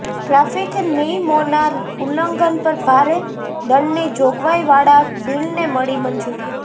traffic નિયમોના ઉલ્લંઘન પર ભારે દંડની જોગવાઇ વાળાં બિલને મળી મંજૂરી